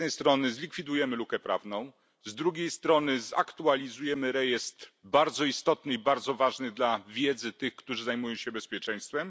Z jednej strony, zlikwidujemy lukę prawną, z drugiej strony, zaktualizujemy rejestr, bardzo istotny i bardzo ważny dla wiedzy tych, którzy zajmują się bezpieczeństwem.